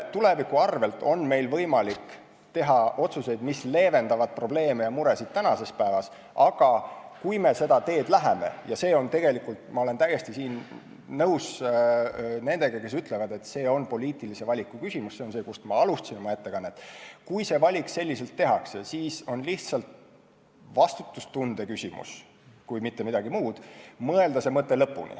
Tuleviku arvel on meil võimalik teha otsuseid, mis leevendavad probleeme ja muresid tänases päevas, aga kui me seda teed läheme – siinkohal ma olen täiesti nõus nendega, kes ütlevad, et see on poliitilise valiku küsimus, sellest ma oma ettekannet alustasingi – ja kui selline valik tehakse, siis on lihtsalt vastutustunde küsimus, kui mitte midagi muud, mõelda see mõte lõpuni.